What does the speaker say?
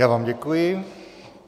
Já vám děkuji.